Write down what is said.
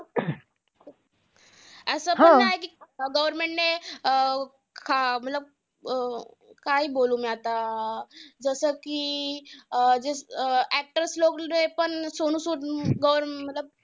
असं पण नाही कि government ने आ मतलब अं काय बोलू मी आता. जसं कि अं actors लोकने पण सोनू सूद government